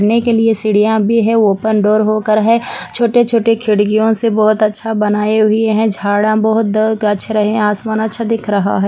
ने के लिए सीढियाँ भी है ओपन डोर हो कर है छोटे-छोटे खिड़कियों से बहोत अच्छा बनाये हुए है झाड़ा बहोत द गच्छ रहे है आसमान बहोत अच्छा दिखक रहा है।